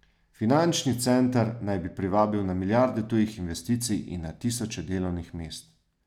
Finančni center naj bi privabil na milijarde tujih investicij in na tisoče delovnih mest.